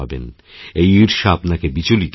এই ঈর্ষা আপনাকে বিচলিত করবে